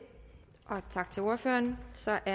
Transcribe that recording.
og tak til ordføreren så er